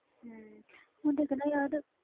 ਹੁਣ ਦੇਖ ਨਾ ਯਾਰ